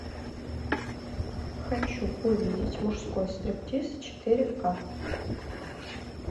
хочу увидеть мужской стриптиз четыре ка